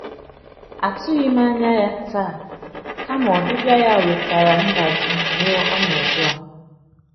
Atụghị m anya ya taa, kama ọbịbịa ya wetara ndajụ nye ọnọdụ a.